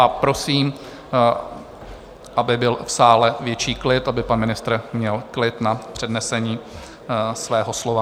A prosím, aby byl v sále větší klid, aby pan ministr měl klid na přednesení svého slova.